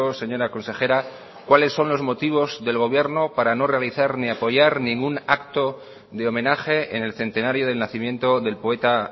señora consejera cuáles son los motivos del gobierno para no realizar ni apoyar ningún acto de homenaje en el centenario del nacimiento del poeta